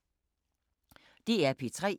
DR P3